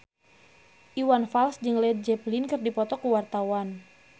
Iwan Fals jeung Led Zeppelin keur dipoto ku wartawan